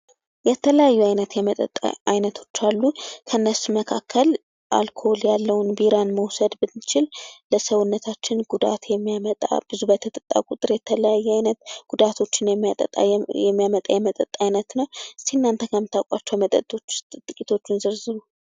የተለያዩ አይነት የመጠጥ አይነቶች አሉ። ከእነሱም መካከል አልኮል ያለውን ቢራን መውሰድ ብንችል ለሰውነታችን ጉዳት የሚያመጣ ብዙ በተጠጣ ቁጥር የሚጎዳ ነዉ። ከምታውቋቸው የመጠጥ አይነቶች መካከል ጥቂቶቹን ጥቅሱ?